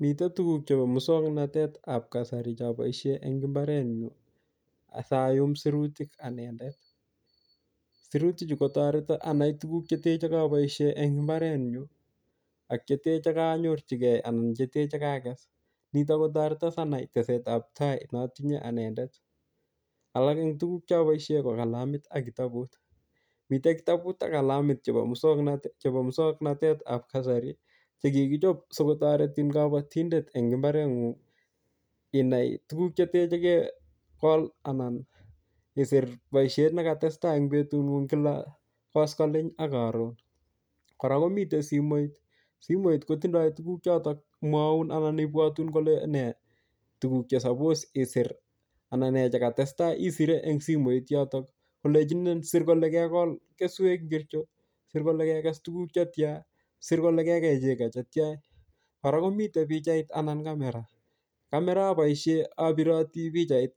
Mitei tukuk chebo musoknotetab kasari choboisie eng imbarenyu siayum sirutik anendet, sirutichu kotoreto anai tukuk che te che koboisie eng imbarenyu, ak che te che kanyorchikei anan che te kakes, nitok kotorito sanai tesetab tai notinye anendet, alak eng tukuk che aboisie ko kalamit ak kitabut, mite kitabut ak kalamit chebo musoknotetab kasari, che kikichop si kotoretin kabatindet eng imbarengung inai tukuk che te che kekol anan isir boisiet ne katestai eng betungung kila koskolen ak karon, kora komitei simoit, simoit kotindoi tukuk chotok mwaun anan ibwotun kole nee tukuk che suppose isir anan nee che katestai, isire eng simoit yotok, kolechinin sir kole kekol keswek ngircho, sir kole kekes tukuk che tia, sir kole kekei chego che tia kora komitei pichait anan camera, camera aboisie abiroti pichait